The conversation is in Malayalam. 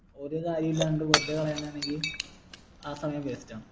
ഒരു കാര്യം ഇല്ലാണ്ട് വെറുതെ കളയുന്ന ആണെങ്കിൽ ആ സമയം waste ആണ്